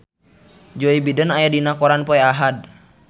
Joe Biden aya dina koran poe Ahad